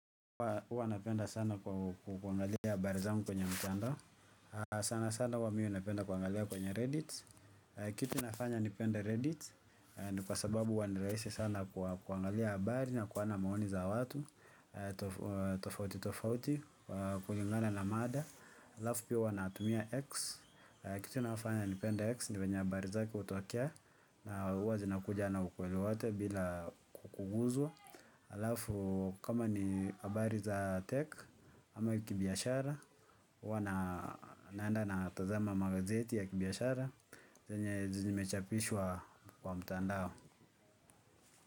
Huwa napenda sana kuangalia habari zangu kwenye mtandao. Sana sana huwa mimi napenda kuangalia kwenye reddit. Kitu inafanya nipenda reddit. Ni kwa sababu huwa ni rahisi sana kwa kuangalia habari na kuona maoni za watu tofauti tofaut kulingana na mada, alafu pia huwa natumia X, kitu inayonifanya nipende X ni venye habari zake hutokea na huwa zinakuja na ukweli wote bila kuguzwa. Halafu kama ni habari za tech ama kibiashara. Huwa naenda na tazama magazeti ya kibiashara zanye zimechapishwa kwa mtandao.